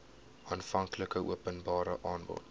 aanvanklike openbare aanbod